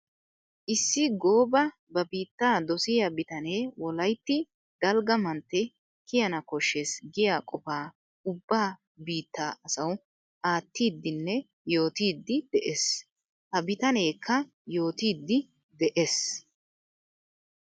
Issi gooba ba biitta dosiya bitane wolaytti dalgga mantte kiyanna koshees giya qofaa ubba biitta asawu aattidinne yoottidde de'ees. Ha bitanekka yootidde de'ees.